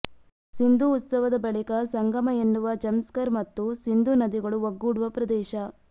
ಸಿಂಧೂ ಉತ್ಸವದ ಬಳಿಕ ಸಂಗಮ ಎನ್ನುವ ಝಂಸ್ಕರ್ ಮತ್ತು ಸಿಂಧೂ ನದಿಗಳು ಒಗ್ಗೂಡುವ ಪ್ರದೇಶ